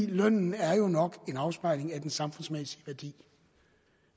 lønnen er jo nok en afspejling af den samfundsmæssige værdi